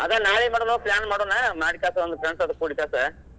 ಅದ್ ನಾಳೆ ಏನ್ ಮಾಡೂನು plan ಮಾಡುನಾ ಮಾಡಿಕ್ಯಾಸ ಒಂದ್ friends ಅದು ಕೂಡಿಕ್ಯಾಸ,